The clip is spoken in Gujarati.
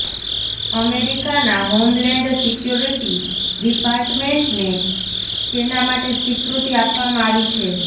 અમેરિકાના હોમલેન્ડ સિક્યોરિટી ડિપાર્ટમેન્ટને તેના માટે સ્વીકૃતિ આપવામાં આવી છે